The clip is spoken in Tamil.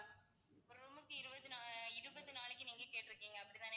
ஒரு room க்கு இருபது நா~ இருபது நாளைக்கு நீங்க கேட்டிருக்கீங்க அப்படிதானே?